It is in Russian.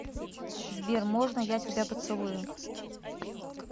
сбер можно я тебя поцелую